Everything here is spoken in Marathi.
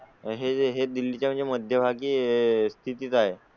हे दिल्ली च्या मध्यभागी स्थित आहे.